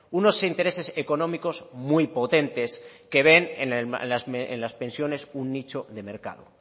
unos intereses económicos muy potentes que ven en las pensiones un nicho de mercado